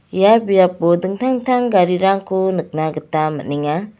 ia biapo dingtang dingtang garirangko nikna gita man·enga.